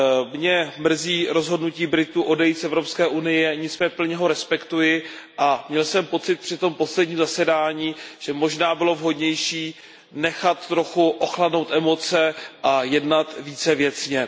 Mě mrzí rozhodnutí Britů odejít z Evropské unie, nicméně plně ho respektuji a měl jsem pocit při tom posledním zasedání, že možná bylo vhodnější nechat trochu ochladnout emoce a jednat více věcně.